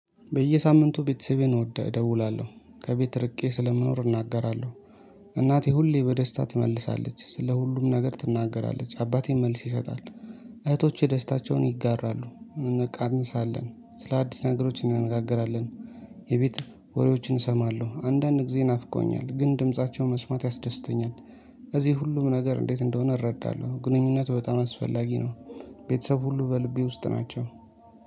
በየሳምንቱ ቤተሰቤን እወዳለሁ ደውላለሁ ከቤት ርቄ ስለምኖር እናገራለሁ እናቴ ሁሌ በደስታ ትመልሳለች ስለ ሁሉም ነገር ትናገራለች አባቴን መልስ ይሰጣል። እህቶቼ ደስታቸውን ይጋራሉ እንቀንሳለን ስለ አዲስ ነገሮች እናነጋገራለን። የቤት ወሬዎችን እሰማለሁ አንዳንድ ጊዜ ናፍቆኛል ግን ድምፃቸው መስማት ያስደስተኛል። እዚህ ሁሉም ነገር እንዴት እንደሆነ እረዳለሁ ግንኙነት በጣም አስፈላጊ ነው። ቤተሰብ ሁሉ በልቤ ውስጥ ናቸው